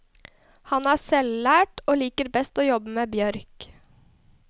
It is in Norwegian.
Han er selvlært, og liker best å jobbe med bjørk.